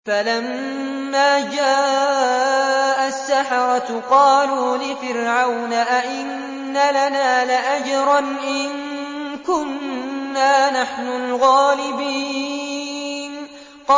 فَلَمَّا جَاءَ السَّحَرَةُ قَالُوا لِفِرْعَوْنَ أَئِنَّ لَنَا لَأَجْرًا إِن كُنَّا نَحْنُ الْغَالِبِينَ